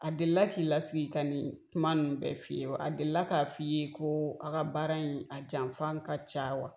A delila k'i lasigi ka nin kuma nin bɛɛ f'i ye? A delila k'a fɔ i ye ko a ka baara in , a janfan ka ca wa?